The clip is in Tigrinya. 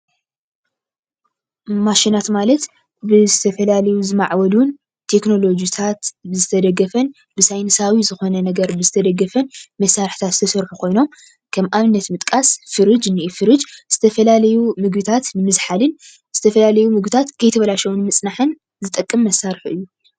ማሽናት ማለት ብዝተፈላለዩ ዝማዕበሉን ብቴክኖሎጂታት ዝተደገፈን ብሳይንሳዉ ዝኾነ ነገር ዝተደገፈን መሳሪሒታት ዝተሰርሑ ኮይኖም ከም ኣብነት ንምጥቃስ ፍርጅ። ፍርጅ ዝተፈላለዩ ምግብታት ንምዝሓልን ዝተፈላለዩ ምግብታት ከይተባለሸው ንምፅናሕን ዝጠቅም መሳሪሒ እዩ።